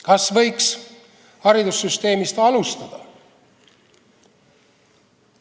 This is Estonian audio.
Kas võiks haridussüsteemist alustada?